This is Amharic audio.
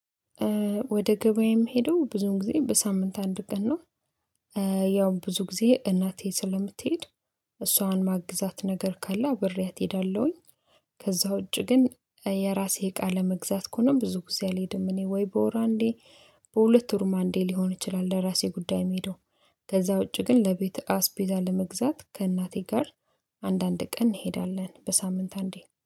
ወደ ገበያ የምሄደው ብዙ ጊዜ በሳምንት አንድ ቀን ነው። ያው ብዙ ጊዜ እናቴ ስለምትሄድ እሷን እማግዛት ነገር ካለ አብሬያት እሄዳለሁኝ። ከዛ ውጪ ግን የራሴ እቃ ለመግዛት ከሆነ ብዙ ጊዜ አልሄድም እኔ ወይ በወር አንዴ በሁለት ወርም አንዴ ሊሆን ይችላል። ለራሴ ጉዳይ እሚሄደው። ከዛ ውጪ ግን ለቤት አስፔዛ ለመግዛት ከእናቴ ጋር አንዳንድ ቀን እንሄዳለን በሳምንት አንዴ